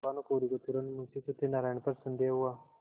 भानुकुँवरि को तुरन्त मुंशी सत्यनारायण पर संदेह हुआ